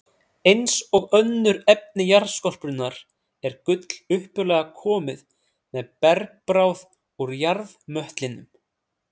Eins og önnur efni jarðskorpunnar er gull upphaflega komið með bergbráð úr jarðmöttlinum.